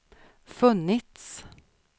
funnits